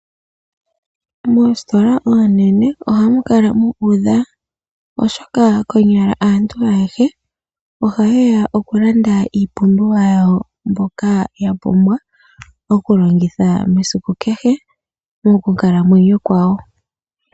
Moositola oonene ohamu kala mu udha oshoka konyala aantu ayehe ohaye ya oku landa iipumbiwa yawo mbyoka ya pumbwa oku longitha mesiku kehe mokukalamwenyo kwayo.